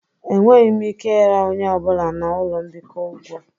Enweghị m ike ịra onye ọ bụla na ụlọ mbikọ ụgwọ